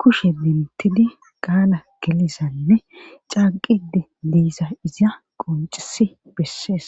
kushe bentidi qaala gelizanne caqide diisa iza qoncisi bessees.